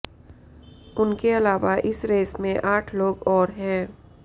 उनके अलावा इस रेस में आठ लोग और हैं